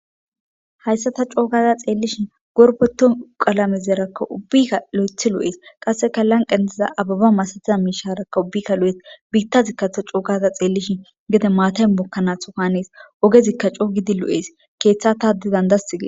hayssa ta coogaza xeellishin gorbeto qalamezeraka ubbikka lo7ethi lo7ees qasseka lanqan diza ababa masatiza miisharakka ubbikka lo7et biittazikkatho coogaza xeellishin gede maatayn bokkanaashokanees ogezikka coogidi lo7ees keeththa tadi dandasti gie